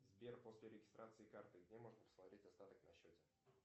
сбер после регистрации карты где можно посмотреть остаток на счете